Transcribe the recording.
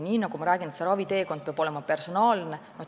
Nagu ma rääkisin, raviteekond peab olema personaalne.